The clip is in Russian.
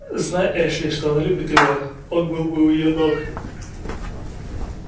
знай эшли что она любит его он был бы у её ног